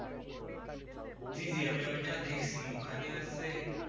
জি জি! আমি ওটা দেখছি। ওখানে হচ্ছে